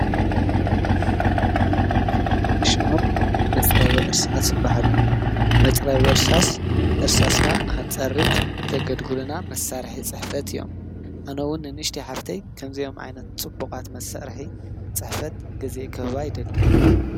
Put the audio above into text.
እዞም እንሪኦም ዘለና መፅረቢ እርሳስ ይበሃሉ፡፡ መፅረቢ እርሳስ እርሳስና ንክንፀርብ ዘገልግሉነ መሳርሒ ፅሕፈት እዮም፡፡ ኣነ እውን ንንእሽተይ ሓፍተይ ከምዚኦም ዓይነት ፅቡቃት መሳርሒ ፅሕፈት ገዚአ ክህባ ይደሊ፡፡